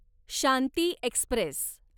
Shanti Express